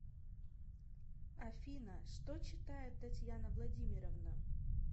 афина что читает татьяна владимировна